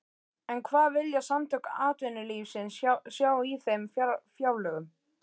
En hvað vilja Samtök atvinnulífsins sjá í þeim fjárlögum?